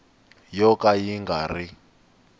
yo ka yi nga ri